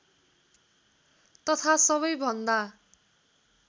तथा सबै भन्दा